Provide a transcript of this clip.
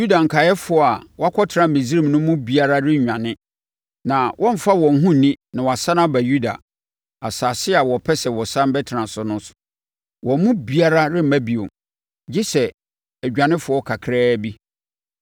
Yuda nkaeɛfoɔ a wɔakɔtena Misraim no mu biara rennwane, na wɔremfa wɔn ho nni na wɔasane aba Yuda, asase a wɔpɛ sɛ wɔsane bɛtena so no; wɔn mu biara remma bio, gye sɛ adwanefoɔ kakraa bi.”